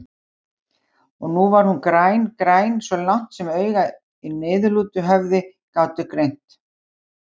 Og nú var hún græn, græn svo langt sem augu í niðurlútu höfði gátu greint.